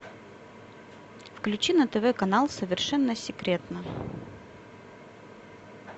включи на тв канал совершенно секретно